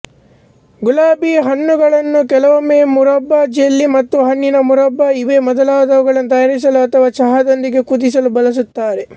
ಗುಲಾಬಿ ಹಣ್ಣುಗಳನ್ನು ಕೆಲವೊಮ್ಮೆ ಮುರಬ್ಬ ಜೆಲ್ಲಿ ಮತ್ತು ಹಣ್ಣಿನ ಮುರಬ್ಬ ಇವೇ ಮೊದಲಾದವುಗಳನ್ನು ತಯಾರಿಸಲು ಅಥವಾ ಚಹಾದೊಂದಿಗೆ ಕುದಿಸಲು ಬಳಸುತ್ತಾರೆ